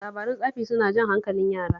Labaran tsafi suna jan hankalin yara